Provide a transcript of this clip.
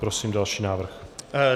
Prosím další návrh.